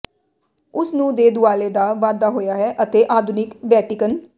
ਉਸ ਨੂੰ ਦੇ ਦੁਆਲੇ ਦਾ ਵਾਧਾ ਹੋਇਆ ਹੈ ਅਤੇ ਆਧੁਨਿਕ ਵੈਟੀਕਨ